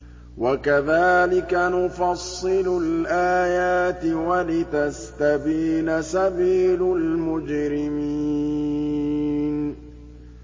وَكَذَٰلِكَ نُفَصِّلُ الْآيَاتِ وَلِتَسْتَبِينَ سَبِيلُ الْمُجْرِمِينَ